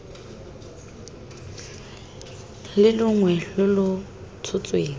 le longwe lo lo tshotsweng